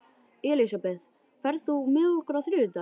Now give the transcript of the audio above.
Elisabeth, ferð þú með okkur á þriðjudaginn?